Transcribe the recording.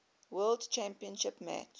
world championship match